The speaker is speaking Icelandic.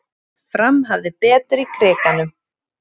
Fram hafði betur í Krikanum